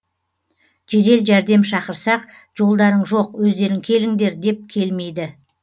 жедел жәрдем шақырсақ жолдарың жоқ өздерің келіңдер деп келмейді